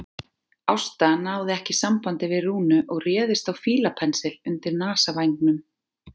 Ásta náði ekki sambandi við Rúnu og réðist á fílapensil undir nasavængnum.